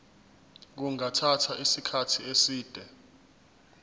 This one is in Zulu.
kungathatha isikhathi eside